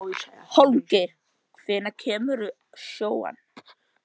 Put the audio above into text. Hólmgeir, hvenær kemur sjöan?